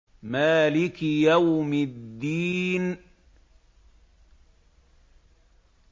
مَالِكِ يَوْمِ الدِّينِ